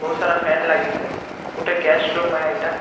ବହୁତ୍‌ ସାରା ଫ୍ୟାନ ଲାଗିଛେ ଗୁଟେ ଗେଷ୍ଟ ରୁମ ଏ ଇଟା।